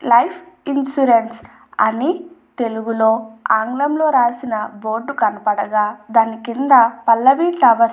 life insurance అని తెలుగులో ఆంగ్లంలో రాసిన బోర్డు కనపడగా దాని కింద పల్లవి టవర్స్ --